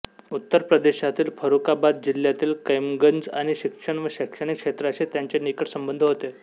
उत्तर प्रदेशातील फरुखाबाद जिल्ह्यातील कैमगंज आणि शिक्षण व शैक्षणिक क्षेत्राशी त्यांचे निकट संबंध होते